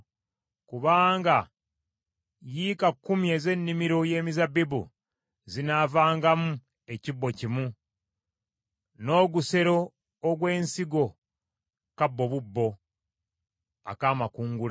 Kubanga yika kkumi ez’ennimiro y’emizabbibu zinaavangamu ekibbo kimu, n’ogusero ogw’ensigo, kabbo bubbo ak’amakungula.”